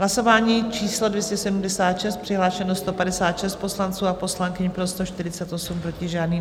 Hlasování číslo 276, přihlášeno 156 poslanců a poslankyň, pro 148, proti žádný.